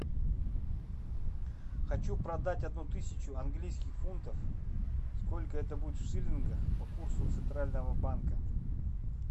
хочу продать одну тысячу английских фунтов сколько это будет в шиллингах по курсу центрального банка